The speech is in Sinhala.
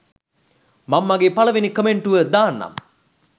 මං මගේ පලවෙනි කමෙන්ටුව දාන්නම්